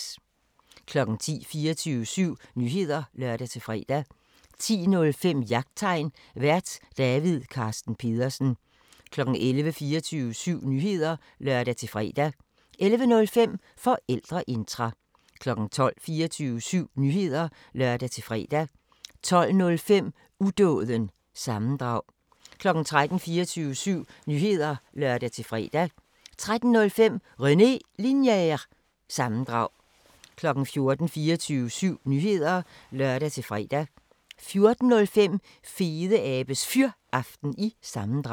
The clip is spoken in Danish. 10:00: 24syv Nyheder (lør-fre) 10:05: Jagttegn Vært: David Carsten Pedersen 11:00: 24syv Nyheder (lør-fre) 11:05: Forældreintra 12:00: 24syv Nyheder (lør-fre) 12:05: Udåden – sammendrag 13:00: 24syv Nyheder (lør-fre) 13:05: René Linjer- sammendrag 14:00: 24syv Nyheder (lør-fre) 14:05: Fedeabes Fyraften – sammendrag